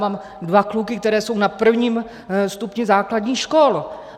Mám dva kluky, kteří jsou na prvním stupni základních škol.